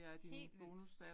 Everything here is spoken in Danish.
Helt vildt